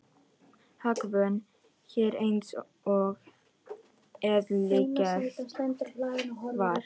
Hagvön hér eins og eðlilegt var.